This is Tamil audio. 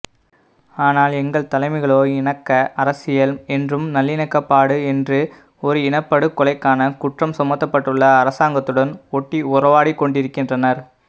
ஆனால்எங்கள் தலைமைகளோ இணக்க அரசியல் என்றும் நல்லிணக்கப்பாடு என்று ஒருஇனப்படுகொலைக்கான குற்றம் சுமத்தப்பட்டுள்ள அசாங்கத்துடன் ஒட்டிஉறவாடிக்கொண்டிருக்கின்றனர்